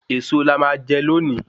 Èso la má jè loni